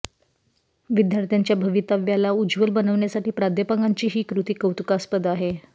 विद्यार्थ्यांच्या भविताव्याला उज्ज्वल बनवण्यासाठी प्राध्यापकांची ही कृती कौतुकास्पद आहे